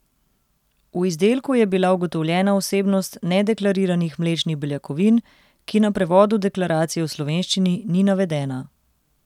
V izdelku je bila ugotovljena vsebnost nedeklariranih mlečnih beljakovin, ki na prevodu deklaracije v slovenščini ni navedena.